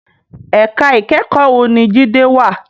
Èká ikèékò wó ni Jide wá?